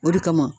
O de kama